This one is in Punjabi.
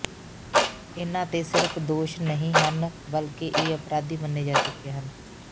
ਇਨ੍ਹਾਂ ਤੇ ਸਿਰਫ਼ ਦੋਸ਼ ਨਹੀਂ ਹਨ ਬਲਕਿ ਇਹ ਅਪਰਾਧੀ ਮੰਨੇ ਜਾ ਚੁੱਕੇ ਹਨ